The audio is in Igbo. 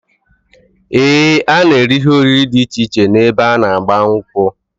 Ee, a na-eri ihe oriri dị iche iche ebe a n'agba nkwu